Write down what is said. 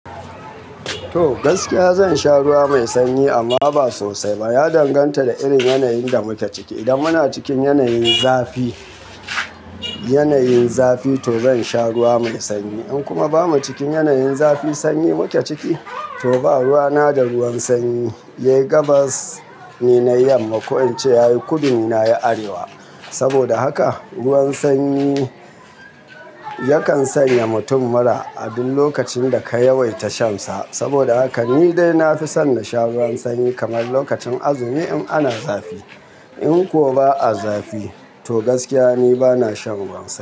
To gaskiya zan sha ruwa mai sanyi amma ba sosai ba. Ya danganta da irin yanayin da muke ciki. Idan muna cikin yanayin zafi, yanayin zafi to zan sha ruwa mai sanyi. In kuma bamu cikin yanayin zafi sanyi muke ciki to ba, ruwa na da ruwan sanyi. Yayi gabas ni nai yamma. Ko in ce yayi kudu ni na yi arewa. Saboda haka ruwan sanyi yakan sanya mutum mura abin lokacin da ka yawaita shansa. Saboda haka ni dai na fi son na sha ruwan sanyi kamar lokacin azumi in ana zafi. In kuwa ba a zafi to gaskiya ni bana shan ruwan sanyi.